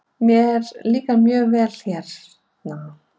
Mér líkar mjög vel hérna.